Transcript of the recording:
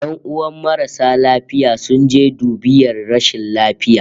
"Yanuwan marasa lafiya sun je dubiyar rashin lafiya